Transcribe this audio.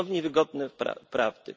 to nie są niewygodne prawdy